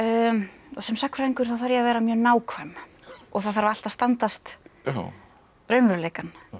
og sem sagnfræðingur þá þarf ég að vera mjög nákvæm og það þarf allt að standast raunveruleikann